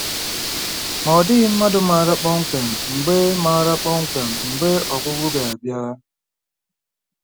Ma, ọ dịghị mmadụ maara kpọmkwem mgbe maara kpọmkwem mgbe ọgwụgwụ ga-abịa.